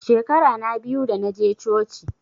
Shekara na biyu da naje coci